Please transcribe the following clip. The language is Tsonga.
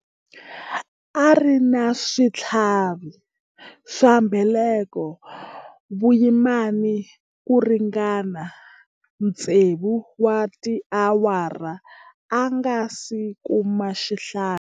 A ri na switlhavi swa mbeleko vuyimani ku ringana tsevu wa tiawara a nga si kuma xihlangi.